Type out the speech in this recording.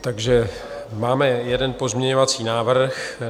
Takže máme jeden pozměňovací návrh.